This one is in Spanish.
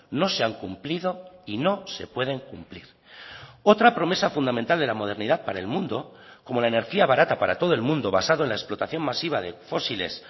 no se han cumplido y no se pueden cumplir otra promesa fundamental de la modernidad para el mundo como la energía barata para todo el mundo basado en la explotación masiva de fósiles